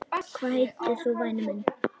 Hvað heitir þú væni minn?